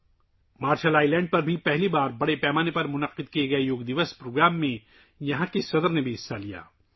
صدر جمہوریہ نے مارشل آئی لینڈ میں پہلی بار بڑے پیمانے پر منعقدہ یوگا ڈے پروگرام میں بھی شرکت کی